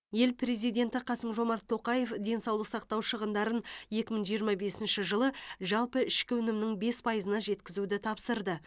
ел президенті қасым жомарт тоқаев денсаулық сақтау шығындарын екі мың жиырма бесінші жылы жалпы ішкі өнімнің бес пайызына жеткізуді тапсырды